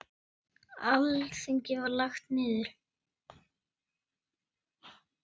Alþingi var lagt niður.